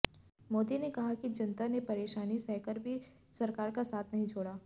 मोदी ने कहा कि जनता ने परेशानी सहकर भी सरकार का साथ नहीं छोड़ा